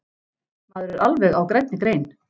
Maður er alveg á grænni grein.